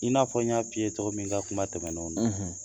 I n'a fɔ n y'a f'i ye cɔgɔ min n ka kuma tɛmɛnenw na